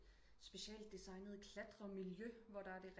Special designet klatremiljøhvor der er det